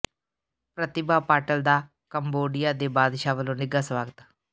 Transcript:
ਪ੍ਰਤਿਭਾ ਪਾਟਿਲ ਦਾ ਕੰਬੋਡੀਆ ਦੇ ਬਾਦਸ਼ਾਹ ਵੱਲੋਂ ਨਿੱਘਾ ਸਵਾਗਤ